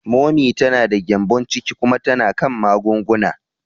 Momi ta da gyembon ciki kuma tana kan magunguna.